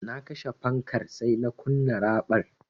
Na kashe fankar sai na kunna raɓar.